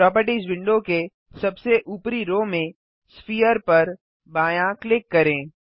properties window के सबसे ऊपरी रो में sphereपर बायाँ क्लिक करें